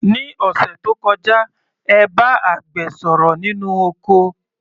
Ní òṣẹ̀ tó kọjá, ẹ bá àgbẹ̀ sọ̀rọ̀ nínú oko.